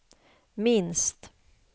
minst